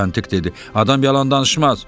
Müstəntiq dedi, adam yalan danışmaz.